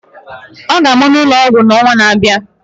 Ọ ga-amụ n'ụlọ ọgwụ n'ọnwa na-abịa.